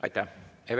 Aitäh!